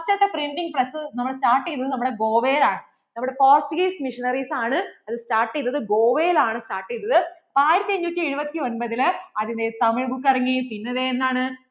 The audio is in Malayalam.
ആദ്യത്തെ printing press നമ്മൾ start ചെയ്തത് നമ്മടെ Goa യിൽ ആണ് നമ്മടെ Portuguese Missionaries ആണ് അത് start ചെയ്തത് Goa യിൽ ആണ് start ചെയ്തത് ആയിരത്തി അഞ്ഞൂറ്റി ഏഴുവത്തി ഒൻപതിൽ അതിൻ്റെ സമയ book ഇറങ്ങി പിന്നേ ദേ എന്താണ്